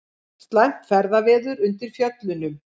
Slæmt ferðaveður undir Fjöllunum